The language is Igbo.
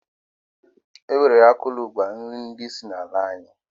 E nwere akụlụ ngwa nri ndi si na ala anyi.